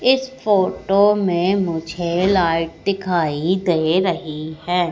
इस फोटो में मुझे लाइट दिखाई दे रही है।